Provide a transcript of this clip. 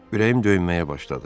Ürəyim döyməyə başladı.